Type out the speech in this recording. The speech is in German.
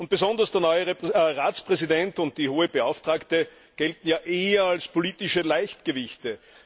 Und besonders der neue Ratspräsident und die Hohe Beauftragte gelten ja eher als politische Leichtgewichte.